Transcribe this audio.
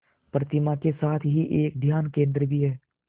प्रतिमा के साथ ही एक ध्यान केंद्र भी है